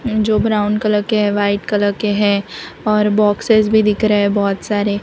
जो brown colour के है वाइट कलर के है और बॉक्स भी दिख रहा है बहुत सारे --